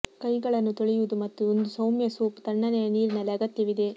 ಕೈಗಳನ್ನು ತೊಳೆಯುವುದು ಮತ್ತು ಒಂದು ಸೌಮ್ಯ ಸೋಪ್ ತಣ್ಣನೆಯ ನೀರಿನಲ್ಲಿ ಅಗತ್ಯವಿದೆ